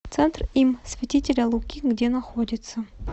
центр им святителя луки где находится